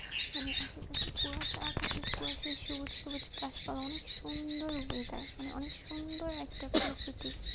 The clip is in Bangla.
মানে আশেপাশে কুয়াশা থাকে, কুয়াশায় সবুজ সুবজ গাছপাল্লা, অনেক সুন্দর weather মানে অনেক সুন্দর একটা প্রকৃতি।